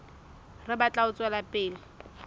re batla ho tswela pele